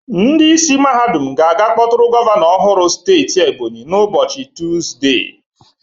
Ndị isi mahadum ga-aga kpọtụrụ gọvanọ ọhụrụ steeti Ebonyi na ụbọchị Tuuzde.